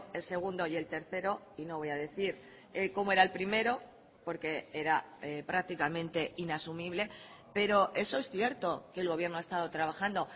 el segundo y el tercero y no voy a decir cómo era el primero porque era prácticamente inasumible pero eso es cierto que el gobierno ha estado trabajando